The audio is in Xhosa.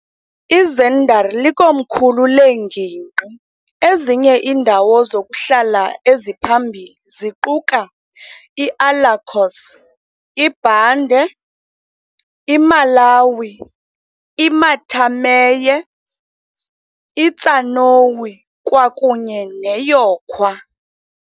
IZinder likomkhulu lengingqi, ezinye iindawo zokuhlala eziphambili ziquka iAlakoss, iAlbarkaram, iBande, iMalawi, iMatameye, iTsaouni, kwakunye neYekoua.